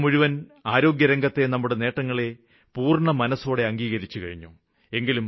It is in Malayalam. ലോകം മുഴുവന് ആരോഗ്യരംഗത്തെ നമ്മുടെ നേട്ടങ്ങളെ പൂര്ണമനസ്സോടെ അംഗീകരിച്ചുകഴിഞ്ഞു